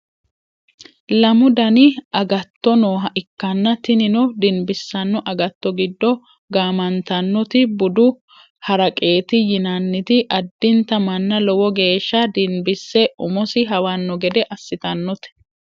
lamu dani agtto nooha ikkanna tinino dinbissanno agatto giddo gaamantannoti budu haraqeeti yinanniti addinta manna lowo geeshsha dinbisse umosi hawanno gede assitannote